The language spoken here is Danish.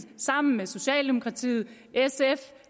sammen med socialdemokratiet sf